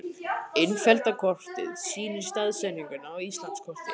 Innfellda kortið sýnir staðsetninguna á Íslandskorti.